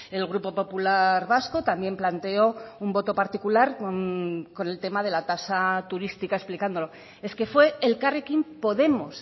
el grupo popular vasco también planteó un voto particular con el tema de la tasa turística explicándolo es que fue elkarrekin podemos